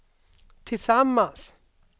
tillsammans